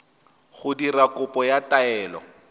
go dira kopo ya taelo